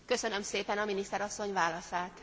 Köszönöm szépen a miniszter asszony válaszát.